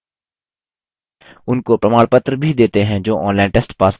उनको प्रमाणपत्र भी देते हैं जो online test pass करते हैं